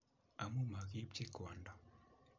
Amu magi-ipchi Kwanda